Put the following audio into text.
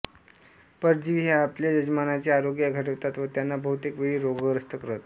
परजीवी हे आपल्या यजमानांचे आरोग्य घटवितात व त्यांना बहुतेक वेळी रोगग्रस्त करतात